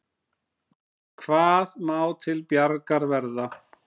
Hvað má til bjargar verða?